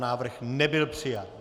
Návrh nebyl přijat.